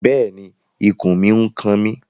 Bẹ́ẹ̀ni, ikùn mi n kan mi